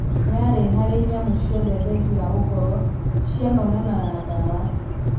Yaarĩ harĩ nyamũ ciothe thengia wa gũkorũo cianonana na dawa